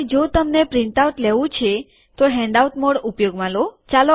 અને જો તમને પ્રિન્ટઆઉટ લેવું છે તો હેન્ડઆઉટ મોડ ઉપયોગમાં લો